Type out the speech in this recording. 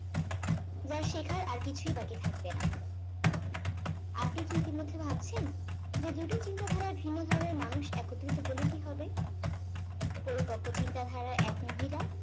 যার শেখার আর কিছুই বাকি থাকবে না আপনি কি ইতিমধ্যেই ভাবছেন যে দুটি চিন্তাধারার ভিন্ন ধারার মানুষ একত্রিত হলে কি হবে পরিপক্ক চিন্তা ধারার এক মহিলা